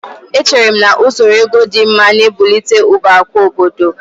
Echere m na usoro ego dị mma na-ebụlite ụba akụ obodo